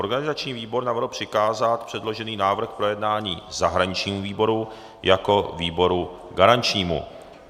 Organizační výbor navrhl přikázat předložený návrh k projednání zahraničnímu výboru jako výboru garančnímu.